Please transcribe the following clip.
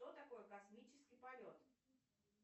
что такое космический полет